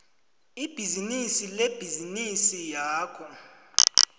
ibhizinisi lebhizinisi yakho